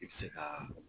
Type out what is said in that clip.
I bɛ se ka